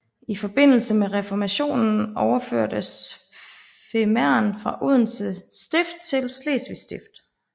I forbindelse med Reformationen overførtes Femern fra Odense Stift til Slesvig Stift